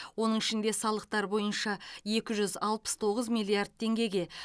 оның ішінде салықтар бойынша екі жүз алпыс тоғыз миллиард теңгеге